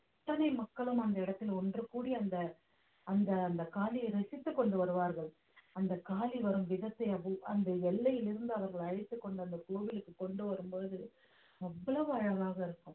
அத்தனை மக்களும் அந்த இடத்தில் ஒன்று கூடி அந்த அந்த அந்த காளியை ரசித்துக் கொண்டு வருவார்கள் அந்த காளி வரும் விதத்தை அது அந்த எல்லையிலிருந்து அவர்கள் அழைத்துக் கொண்டு அந்த கோவிலுக்கு கொண்டு வரும் பொழுது அவ்வளவு அழகாக இருக்கும்